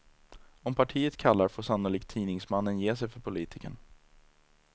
Om partiet kallar får sannolikt tidningsmannen ge sig för politikern.